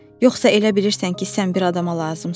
Yoxsa elə bilirsən ki, sən bir adama lazımsan?